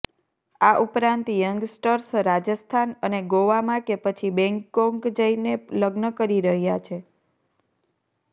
આ ઉપરાંત યંગસ્ટર્સ રાજસ્થાન અને ગોવામાં કે પછી બેંગકોક જઇને લગ્ન કરી રહ્યા છે